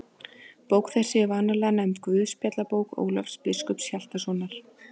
Bók þessi er vanalega nefnd Guðspjallabók Ólafs biskups Hjaltasonar.